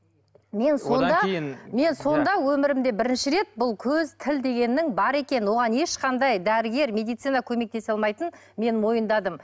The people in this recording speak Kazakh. мен сонда мен сонда өмірімде бірінші рет бұл көз тіл дегеннің бар екенін оған ешқандай дәрігер медицина көмектесе алмайтынын мен мойындадым